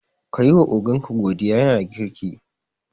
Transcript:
Kayi wa ogan ka godiya, yana da kirki